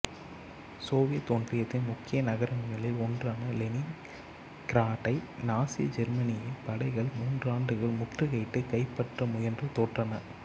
Soviet ஒன்றியத்தின் முக்கிய நகரங்களில் ஒன்றான லெனின்கிராடை நாசி ஜெர்மனியின் படைகள் மூன்றாண்டுகள் முற்றுகையிட்டுக் கைப்பற்ற முயன்று தோற்றன